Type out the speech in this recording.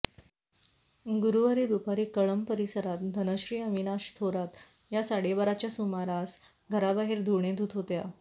गुरुवारी दुपारी कळंब परिसरात धनश्री अविनाश थोरात या साडेबाराच्या सुमारास घराबाहेर धुणे धुत होत्या